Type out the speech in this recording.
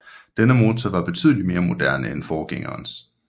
Denne motor var betydeligt mere moderne end forgængerens